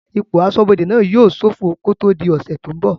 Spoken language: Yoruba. Ipò asọ́bodè náà yóò sófọ kó tó di ọ̀sẹ̀ tó n bọ̀